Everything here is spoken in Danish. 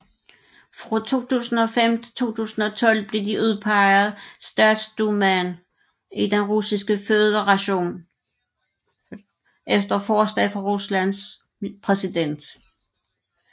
Fra 2005 til 2012 blev de udpeget Statsdumaen i Den Russiske Føderation efter forslag fra Ruslands præsident